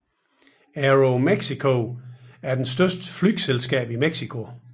AeroMexico er det største flyselskab i Mexico